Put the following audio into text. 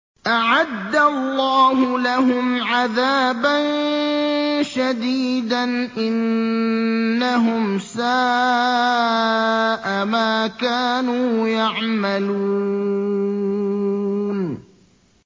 أَعَدَّ اللَّهُ لَهُمْ عَذَابًا شَدِيدًا ۖ إِنَّهُمْ سَاءَ مَا كَانُوا يَعْمَلُونَ